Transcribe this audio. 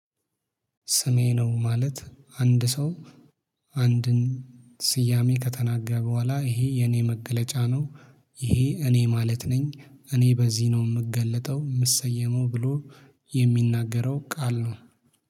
ስሜ ነው ማለት አንድ ሰው አንድን ስያሜ ከተናገረ በኋላ ይሄ የኔ መገለጫ ነው። ይሄ እኔ ማለት ነኝ። እኔ በዚህ ነው የምገልጠው የምሰየመው ብሎ የሚናገረው ቃል ነው።